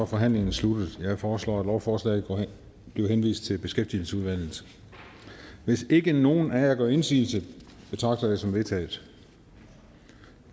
forhandlingen sluttet jeg foreslår at lovforslaget bliver henvist til beskæftigelsesudvalget hvis ikke nogen af jer gør indsigelse betragter jeg det som vedtaget